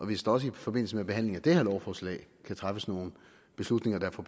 hvis der også i forbindelse med behandlingen af det her lovforslag kan træffes nogle beslutninger der får